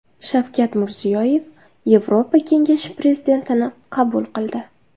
Shavkat Mirziyoyev Yevropa kengashi prezidentini qabul qildi.